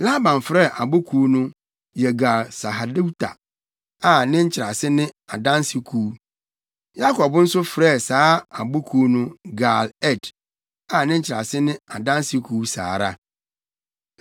Laban frɛɛ abo kuw no Yegar-Sahaduta a ne nkyerɛase ne Adanse Kuw. Yakob nso frɛɛ saa abo kuw no Gal-Ed, a ne nkyerɛase ne Adanse Kuw saa ara.